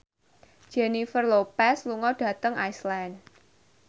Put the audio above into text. Jennifer Lopez lunga dhateng Iceland